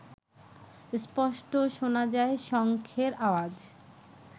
স্পষ্ট শোনা যায় শঙ্খের আওয়াজ